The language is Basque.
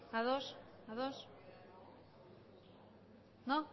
ados ados no